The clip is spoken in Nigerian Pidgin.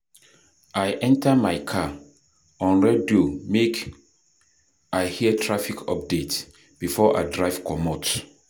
I enta my car, on radio make I hear traffic updates before I drive comot.